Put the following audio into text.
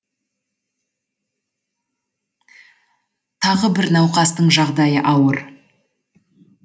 тағы бір науқастың жағдайы ауыр